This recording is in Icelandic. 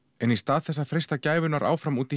en í stað þess að freista gæfunnar áfram úti